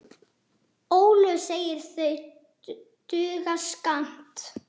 Ólöf segir það duga skammt.